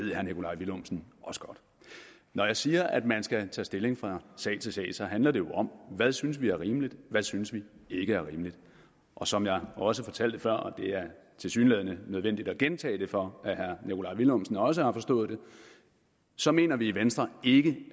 ved herre nikolaj villumsen også godt når jeg siger at man skal tage stilling fra sag til sag så handler det jo om hvad synes vi er rimeligt hvad synes vi ikke er rimeligt og som jeg også fortalte før og det er tilsyneladende nødvendigt at gentage det for at herre nikolaj villumsen også har forstået det så mener vi i venstre ikke